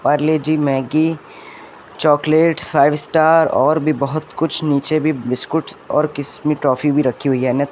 Parle G Maggi chocolates five star और बहोत कुछ नीचे भी बिस्कुट और किस मी टॉफी भी रखी हुई हैं।